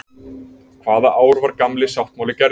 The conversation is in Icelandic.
Hvaða ár var Gamli sáttmáli gerður?